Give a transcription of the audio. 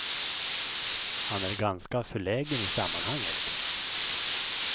Han är ganska förlägen i sammanhanget.